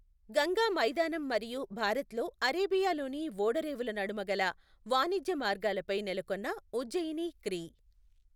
గంగా మైదానం మరియు భారత్లో అరేబియాలోని ఓడరేవుల నడుమ గల వాణిజ్య మార్గాలపై నెలకొన్న ఉజ్జయిని క్రీ.